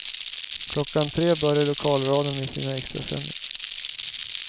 Klockan tre började lokalradion med extrasändningar.